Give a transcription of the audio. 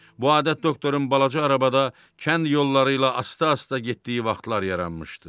Bu adət doktorun balaca arabada kənd yolları ilə asta-asta getdiyi vaxtlar yaranmışdı.